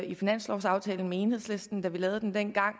i finanslovsaftalen med enhedslisten da vi lavede den dengang og